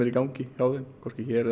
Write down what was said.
í gangi hjá þeim hvorki hér